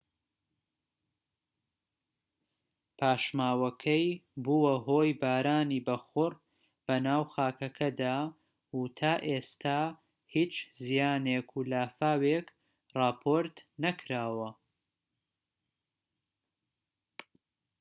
پاشماوەکەی بووە هۆی بارانی بەخوڕ بەناو خاکەکەدا و تا ئێستا هیچ زیانێک و لافاوێك راپۆرت نەکراوە